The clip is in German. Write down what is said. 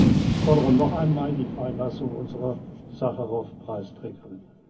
zu können. Ich fordere noch einmal die Freilassung unserer Sacharow Preisträgerin!